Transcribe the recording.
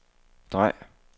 drej